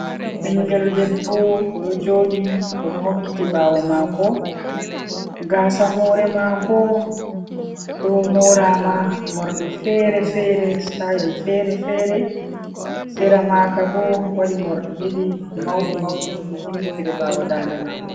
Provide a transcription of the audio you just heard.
Ɓinngel debbo, o ɗo jooɗi, o ɗo hokkiti ɓaawo maako, gaasa hoore maako ɗo mooraama, moorɗi fere-fere, sitayil fere-fere, sera maaka bo, waɗi moorɗi ɗiɗi mawɗi mawɗi, ɗi jimmitire ɓaawo daande maako.